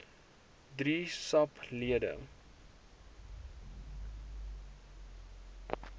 drie sap lede